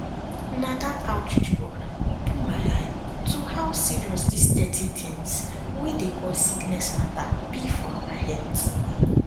na that outreach program open my eye to how serious these dirty things wey dey cause sickness matter be for our health